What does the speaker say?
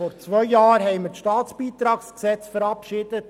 Vor zwei Jahren haben wir das StBG verabschiedet.